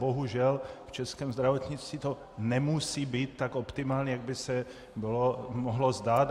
Bohužel v českém zdravotnictví to nemusí být tak optimální, jak by se mohlo zdát.